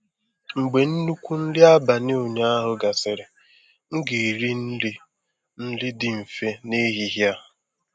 Mgbe nnukwu nri abalị ụnyaahụ gasịrị, m ga-eri nri nri dị mfe n'ehihie a.